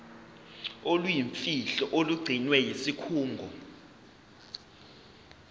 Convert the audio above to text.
oluyimfihlo olugcinwe yisikhungo